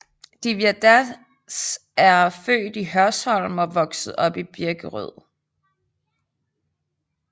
Divya Das er født i Hørsholm og vokset op i Birkerød